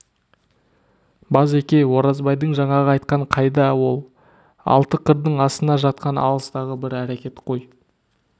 базеке оразбайдың жаңағы айтқаны қайда ол алты қырдың астында жатқан алыстағы бір әрекет қой